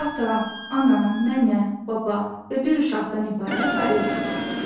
Ata, ana, nənə, baba və bir uşaqdan ibarət ailə götürək.